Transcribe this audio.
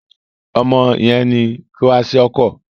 Ọmọdé yén ní Kwaṣiọkọ